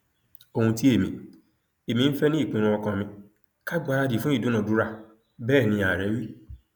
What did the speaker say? ohun tí èmi èmi ń fẹ ni ìpinnu ọkàn mi ká gbáradì fún ìdúnàádúrà bẹẹ ní ààrẹ wí